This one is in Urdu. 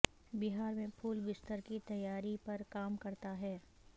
بہار میں پھول بستر کی تیاری پر کام کرتا ہے